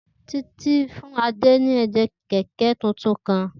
Titi fun Ade ni ìdè kẹ̀kẹ́ tuntun kan.